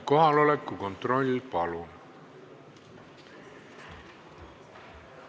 Kohaloleku kontroll, palun!